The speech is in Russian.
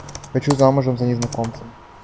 хочу замужем за незнакомцем